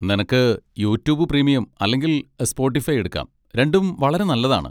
നിനക്ക് YouTube premium അല്ലെങ്കിൽ Spotify എടുക്കാം, രണ്ടും വളരെ നല്ലതാണ്.